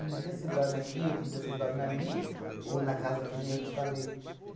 Um dia você dorme aqui, outro dia você dorme ali, ou na casa, que nem eu te falei.